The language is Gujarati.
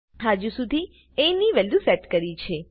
હજુ સુધી એ ની વેલ્યુ સેટ કરી છે